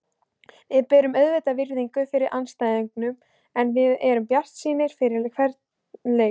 Við berum auðvitað virðingu fyrir andstæðingunum en við erum bjartsýnir fyrir hvern leik.